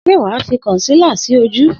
Sé wà á fi kọ̀nsílà sí ojú?